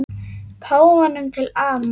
Páfanum til ama.